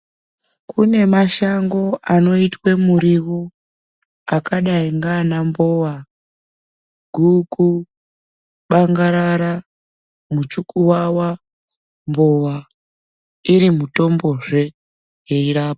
Kune mashango anoitwe muriwo akadayi ngaana mbowa, guku, bangarara, muchukuwawa nembowa iri mitombozve yeirapa.